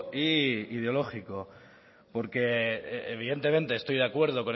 y ideológico porque evidentemente estoy de acuerdo